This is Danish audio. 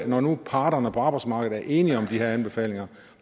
når nu parterne på arbejdsmarkedet er enige om de anbefalinger